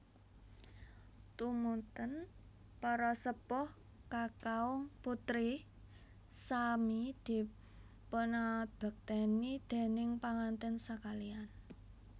Tumunten para sepuh kakaung putri sami dipunngabekteni déning panganten sakaliyan